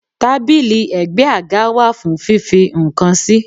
Tábìlì ègbé àga wá fún fífi nǹkan sí?